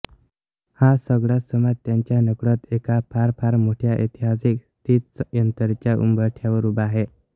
हा सगळाच समाज त्यांच्या नकळत एका फार फार मोठ्या ऐतिहासिक स्थित्यंतराच्या उंबरठ्यावर उभा आहे